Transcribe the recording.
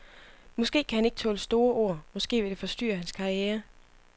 Måske kan han ikke tåle store ord, måske vil det forstyrre hans karriere.